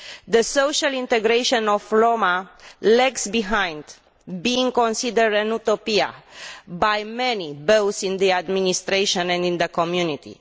The social integration of Roma lags behind, being considered Utopian by many, both in the administration and in the community.